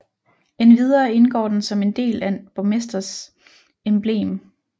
Endvidere indgår den som en del af en borgmesters emblem